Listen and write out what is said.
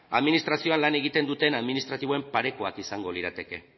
administrazioan lan egiten duten administratiboen parekoak izango lirateke